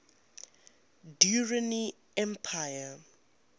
durrani empire